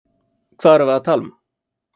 Hvað erum við að tala um?